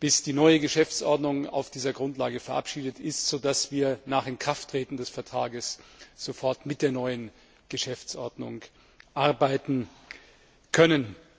bis die neue Geschäftsordnung auf dieser Grundlage verabschiedet ist, so dass wir nach Inkrafttreten des Vertrages sofort mit der neuen Geschäftsordnung arbeiten können.